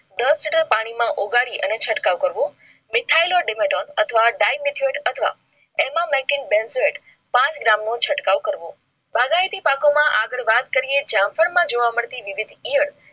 દસ લિટર પાણી માં ઉઘાડી અને છંટકાવ કરવો methaylo dematon અથવા dymethoyd અથવા ema makin benzoyd પાંચ gram નો છંટકાવ કરવો